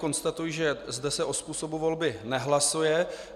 Konstatuji, že zde se o způsobu volby nehlasuje.